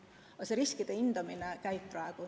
Aga see riskide hindamine käib praegu.